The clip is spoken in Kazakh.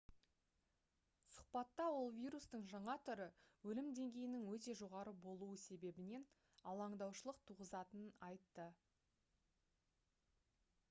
сұхбатта ол вирустың жаңа түрі өлім деңгейінің өте жоғары болуы себебінен алаңдаушылық туғызатынын айтты